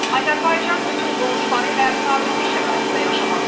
Azərbaycan bütün qonşuları ilə sabitlik şəraitində yaşamaq istəyir.